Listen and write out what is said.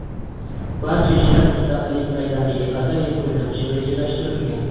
Barcha ishlar Mustaqillik bayramiga qadar yakunlanishi rejalashtirilgan.